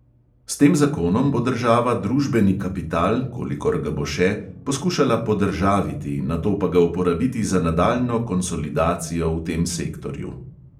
S tem zakonom bo država družbeni kapital, kolikor ga bo še, poskušala podržaviti, nato pa ga uporabiti za nadaljnjo konsolidacijo v tem sektorju.